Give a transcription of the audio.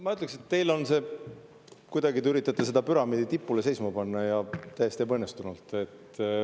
Ma ütleks, et te kuidagi üritate seda püramiidi tipule seisma panna, ja täiesti ebaõnnestunult.